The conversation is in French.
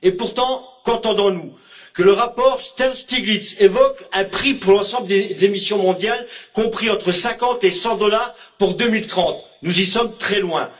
Et pourtant, qu'entend on? Que le rapport Stiglitz évoque un prix pour l'ensemble des émissions mondiales compris entre 50 et 100 dollars pour 2030, nous en sommes très loin.